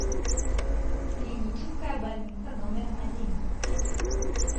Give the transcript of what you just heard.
клиническая больница номер один